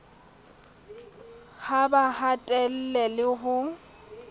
ha ba hatelle le ho